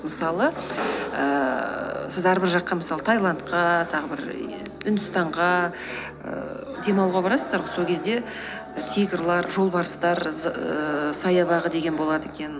мысалы ііі сіз әрбір жаққа мысалы тайландқа тағы бір еее үндістанға ііі демалуға барасыздар ғой сол кезде тигрлар жолбарыстар ііі саябағы деген болады екен